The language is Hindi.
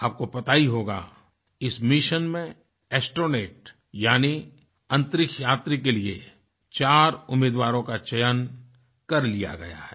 आपको पता ही होगा इस मिशन में एस्ट्रोनॉट यानी अंतरिक्ष यात्री के लिए 4 उम्मीदवारों का चयन कर लिया गया है